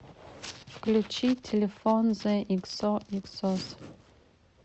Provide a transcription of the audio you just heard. включи телефон зе иксоиксос